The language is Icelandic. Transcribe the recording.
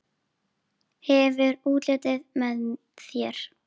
Hefur útlitið með þér.